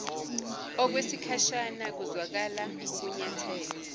okwesikhashana kuzwakala ukunyathela